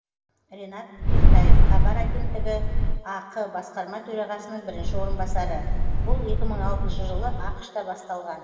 ринат кертаев хабар агенттігі ақ басқарма төрағасының бірінші орынбасары бұл екі мың алтыншы жылы ақш та басталған